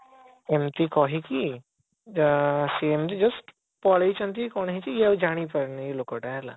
ଏମିତି କହିକି ଅଁ ସେ ଏମିତି just ପଳେଇଛନ୍ତି କଣ ହେଇଛି ଇଏ ଆଉ ଜାଣି ପାରିନି ଏଇ ଲୋକଟା ହେଲା